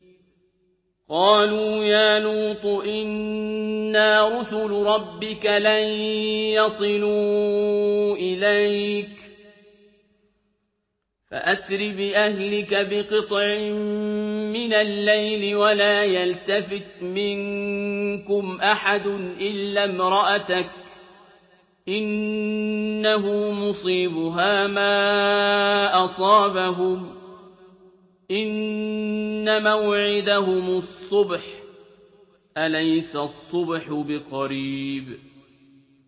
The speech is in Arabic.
قَالُوا يَا لُوطُ إِنَّا رُسُلُ رَبِّكَ لَن يَصِلُوا إِلَيْكَ ۖ فَأَسْرِ بِأَهْلِكَ بِقِطْعٍ مِّنَ اللَّيْلِ وَلَا يَلْتَفِتْ مِنكُمْ أَحَدٌ إِلَّا امْرَأَتَكَ ۖ إِنَّهُ مُصِيبُهَا مَا أَصَابَهُمْ ۚ إِنَّ مَوْعِدَهُمُ الصُّبْحُ ۚ أَلَيْسَ الصُّبْحُ بِقَرِيبٍ